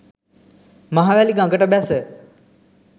මහවැලි ගඟට බැස